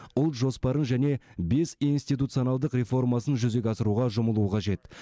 ұлт жоспарын және бес институционалдық реформасын жүзеге асыруға жұмылуы қажет